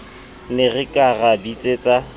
ne re ka ra bitsetsa